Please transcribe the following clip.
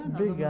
Obrigada.